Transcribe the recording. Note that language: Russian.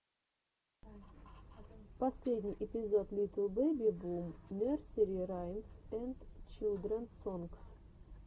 последний эпизод литл бэби бум нерсери раймс энд чилдренс сонгс